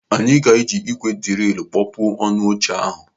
Anyị ga-eji ígwè dịrìlụ kpọpuo ọnụ n'oche ahụ.